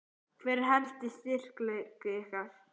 Hver er helsti styrkleiki ykkar?